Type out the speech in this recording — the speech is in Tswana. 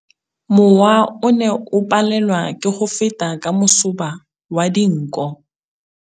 Mowa o ne o palelwa ke go feta ka masoba a dinko.